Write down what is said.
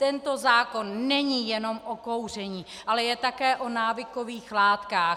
Tento zákon není jenom o kouření, ale je také o návykových látkách.